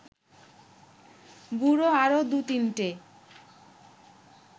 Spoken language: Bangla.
বুড়ো আরও দু’তিনটে